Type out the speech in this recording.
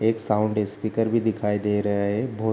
एक sound speaker भी दिखाई दे रहें हैं बहुत --